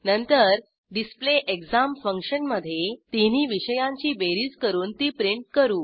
नंतर display exam फंक्शनमधे तिन्ही विषयांची बेरीज करून ती प्रिंट करू